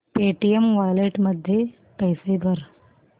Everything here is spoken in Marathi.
पेटीएम वॉलेट मध्ये पैसे भर